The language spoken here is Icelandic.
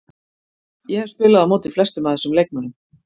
Ég hef spilað á móti flestum af þessum leikmönnum.